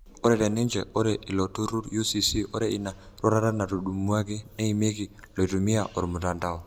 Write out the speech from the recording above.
Ore teninche ore ilo turur UCC-ore ina roruata netudumuaki neimieki loitumia ormutandao.